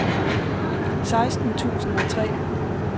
seksten tusind og tre